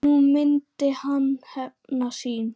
Nú myndi hann hefna sín.